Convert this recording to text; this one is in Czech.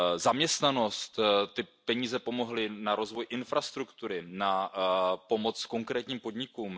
Zaměstnanost ty peníze pomohly na rozvoj infrastruktury, na pomoc konkrétním podnikům.